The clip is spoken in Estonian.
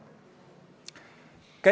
Ma teeksin seda hea meelega.